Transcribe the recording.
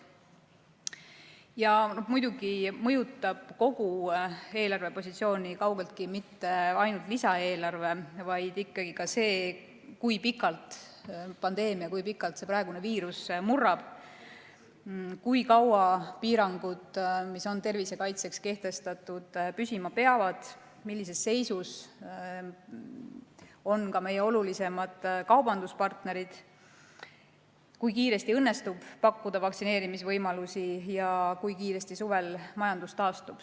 Ja muidugi ei mõjuta kogu eelarvepositsiooni kaugeltki mitte ainult lisaeelarve, vaid ikkagi ka see, kui pikalt pandeemia, see praegune viirus murrab, kui kaua piirangud, mis on tervise kaitseks kehtestatud, püsima peavad, millises seisus on meie olulisimad kaubanduspartnerid, kui kiiresti õnnestub pakkuda vaktsineerimisvõimalusi ja kui kiiresti suvel majandus taastub.